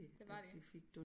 Det var de